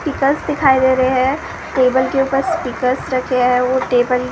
speaker दिखाई दे रहे हैं टेबल के ऊपर स्पीकर रखे हैं वो टेबल --